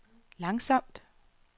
langsomt